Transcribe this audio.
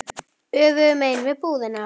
Öfugu megin við búðina.